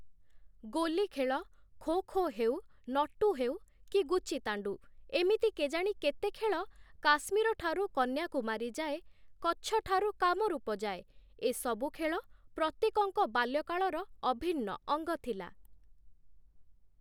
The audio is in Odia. ଗୋଲି ଖେଳ, ଖୋ ଖୋ ହେଉ, ନଟୁ ହେଉ କି ଗୁଚିତାଣ୍ଡୁ ଏମିତି କେଜାଣି କେତେ ଖେଳ କାଶ୍ମୀରଠାରୁ କନ୍ୟାକୁମାରୀ ଯାଏ, କଚ୍ଛଠାରୁ କାମରୁପ ଯାଏ, ଏ ସବୁ ଖେଳ ପ୍ରତ୍ୟେକଙ୍କ ବାଲ୍ୟକାଳର ଅଭିନ୍ନ ଅଙ୍ଗ ଥିଲା ।